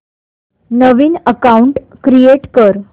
नवीन account create कर